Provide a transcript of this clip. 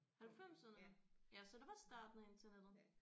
Halvfemserne ja så det var starten af internettet